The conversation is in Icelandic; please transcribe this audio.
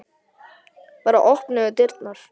Bara opnuðum dyrnar.